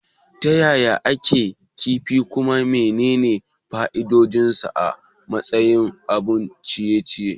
Yaya ake shirya kek din kifi, kuma menene fa'idodinsa a matsayin abun ciye-ciye?